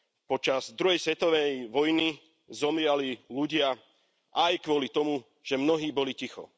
Počas druhej svetovej vojny zomierali ľudia aj kvôli tomu, že mnohí boli ticho.